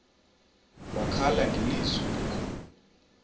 wakhala ngelizwi elikhulu